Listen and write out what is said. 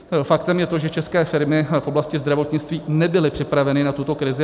Faktem je to, že české firmy v oblasti zdravotnictví nebyly připraveny na tuto krizi.